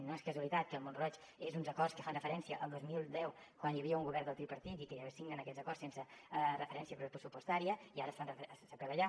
no és casualitat que mont roig és d’uns acords que fan referència al dos mil deu quan hi havia un govern del tripartit i que signen aquests acords sense referència pressupostària i ara s’apel·la a allà